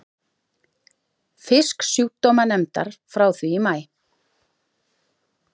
Fisksjúkdómanefndar frá því í maí.